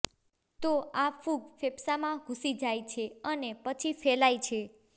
તો આ ફૂગ ફેફસામાં ઘૂસી જાય છે અને પછી ફેલાય છે